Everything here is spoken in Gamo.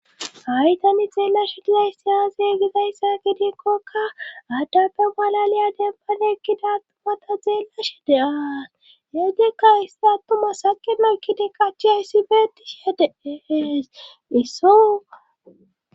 ha,itani xeellashe dizay si aazegizayssa gidikkokka addappe malaliya dembaneekkidaattumata xeellash deaas heedekka hissa attuma saqemeykkide qachi ayssibeetishihe dees issooa